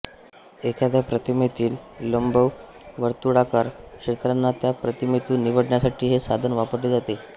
एखाद्या प्रतिमेतील लंबवर्तुळाकार क्षेत्रांना त्या प्रतिमेतून निवडण्यासाठी हे साधन वापरले जाते